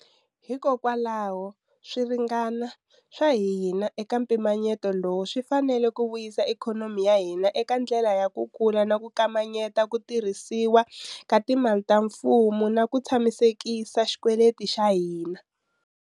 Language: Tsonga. Hikokwalaho, swirhangana swa hina eka mpimanyeto lowu swi fanele ku vuyisa ikhonomi ya hina eka ndlela ya ku kula na ku kamanyeta ku tirhisiwa ka timali ta mfumo na ku tshamisekisa xikweleti xa hina.